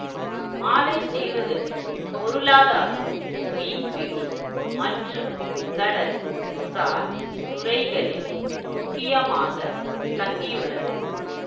மாலைத்தீவுகளின் பொருளாதாரம் மீன்பிடி மற்றும் கடல் சார் துறைகளில் முக்கியமாக தங்கியுள்ளது